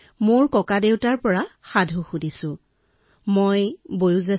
মই মোৰ ককাৰ পৰা বিভিন্ন কাহিনী শুনি ডাঙৰ দীঘল হৈছো